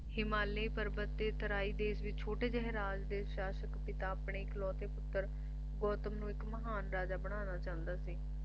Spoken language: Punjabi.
ਹਿਮਾਲਿਆ ਪਰਬਤ ਦੇ ਤਰਾਈ ਦੇਸ਼ ਦੇ ਛੋਟੇ ਜਿਹੇ ਰਾਜ ਦੇ ਸ਼ਾਸਕ ਪਿਤਾ ਆਪਣੇ ਇੱਕ ਇਕਲੌਤੇ ਪੁੱਤਰ ਗੌਤਮ ਨੂੰ ਇੱਕ ਮਹਾਨ ਰਾਜਾ ਬਣਾਉਣਾ ਚਾਹੁੰਦਾ ਸੀ